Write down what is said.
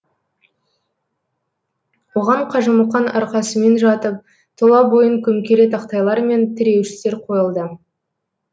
оған қажымұқан арқасымен жатып тұла бойын көмкере тақтайлар мен тіреуіштер қойылды